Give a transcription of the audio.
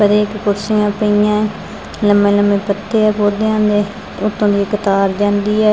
ਔਰ ਏਕ ਕੁਰਸੀਆਂ ਪਈਐਂ ਲੰਮੇ ਲੰਮੇ ਪੱਤੇ ਆ ਪੌਦਿਆਂ ਦੇ ਉੱਤੋ ਦੀ ਇੱਕ ਤਾਰ ਜਾਂਦੀ ਐ।